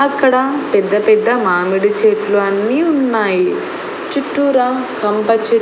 అక్కడ పెద్ద పెద్ద మామిడి చెట్లు అన్ని ఉన్నాయి చుట్టూరా కంప చెట్లు.